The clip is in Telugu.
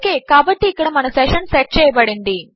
ఓకే కాబట్టి ఇక్కడ మన సెషను సెట్ చేయబడింది